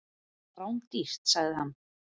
Þetta var rándýrt, sagði hann.